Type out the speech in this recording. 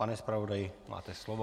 Pane zpravodaji, máte slovo.